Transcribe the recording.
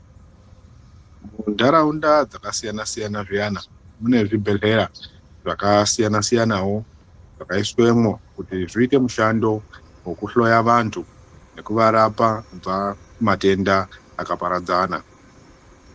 Muntaraunda dzakasiyana siyana zviyana, mune zvibhedhlera zvakasiyana siyanawo, zvakaiswemwo kuti zviite mushando wekuhloya vantu neku varapa kubva kumatenda akaparadzana.